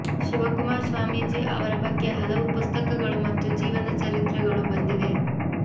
ಶಿವಕುಮಾರ ಸ್ವಾಮೀಜಿ ಅವರ ಬಗ್ಗೆ ಹಲವು ಪುಸ್ತಕಗಳು ಮತ್ತು ಜೀವನ ಚರಿತ್ರೆಗಳು ಬಂದಿವೆ